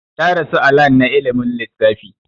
Ta rasu a lan na ilimin lissfafi